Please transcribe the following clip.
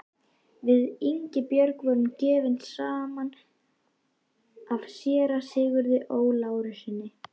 Við Ingibjörg voru gefin saman af séra Sigurði Ó. Lárussyni.